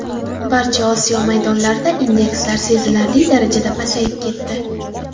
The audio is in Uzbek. Barcha Osiyo maydonlarida indekslar sezilarli darajada pasayib ketdi.